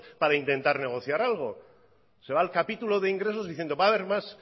para intentar negociar algo se va al capítulo de ingresos diciendo va a ver